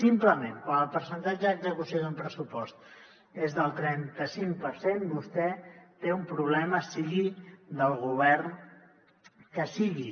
simplement quan el percentatge d’execució d’un pressupost és del trenta cinc per cent vostè té un problema sigui del govern que sigui